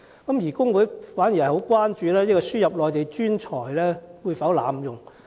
然而，工會最關注的是輸入計劃會否被濫用？